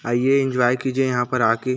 आइए एंजॉय कीजिए यहाँ पर आके।